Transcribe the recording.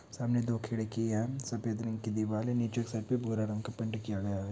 सामने दो खिड़की है सफ़ेद रंग की दीवाल है नीचे सफ़ेद बोरा रंग का पेंट किया गया है।